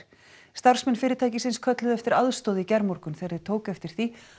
starfsmenn fyrirtækisins kölluðu eftir aðstoð í gærmorgun þegar þeir tóku eftir því